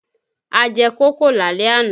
A jẹ kókò lálẹ́ àná